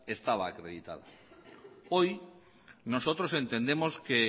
estaba acreditada hoy nosotros entendemos que